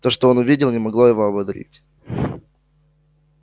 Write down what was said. то что он увидел не могло его ободрить